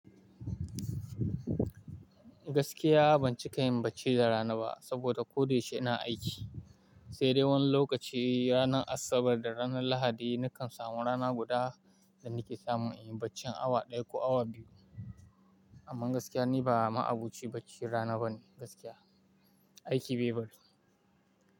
Gaskiya ban cika yin bacci da rana ba saboda ko da yaushe ina aiki. Sai dai wani lokaci ranar Asabar da ranar Lahadi nakan samu rana guda da nike samu in yi bacci awa ɗaya ko awa biyu. Amma gaskiya ni ba ma abuci bacci rana bane gaskiya, aiki bai bari.